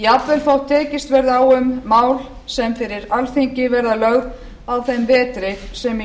jafnvel þótt tekist verði á um mál sem fyrir alþingi verða lögð á þeim vetri sem í